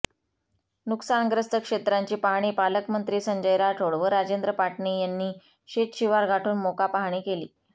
नुकसानग्रस्त क्षेत्रांची पाहणी पालकमत्री संजय राठोड व राजेंद्र पाटणी यांनी शेतशिवार गाठुन मोका पाहणी केली